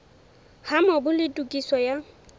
ha mobu le tokiso ya